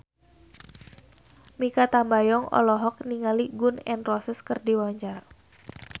Mikha Tambayong olohok ningali Gun N Roses keur diwawancara